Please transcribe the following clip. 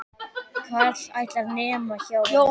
Karl ætlar, nema hjá honum.